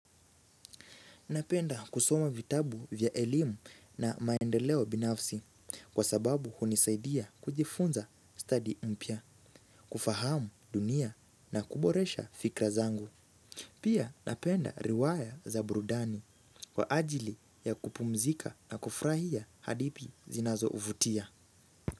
Napenda kusoma vitabu vya elimu na maendeleo binafsi kwa sababu hunisaidia kujifunza stadi mpya, kufahamu dunia na kuboresha fikra zangu. Pia napenda riwaya za burudani kwa ajili ya kupumzika na kufurahia hadithi zinazovutia.